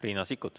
Riina Sikkut.